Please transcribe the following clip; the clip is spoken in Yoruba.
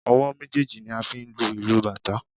Ọwọ́ méjèèjì ni a fi ń lu ìlù bàtá.